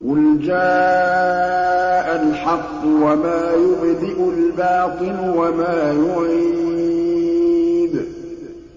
قُلْ جَاءَ الْحَقُّ وَمَا يُبْدِئُ الْبَاطِلُ وَمَا يُعِيدُ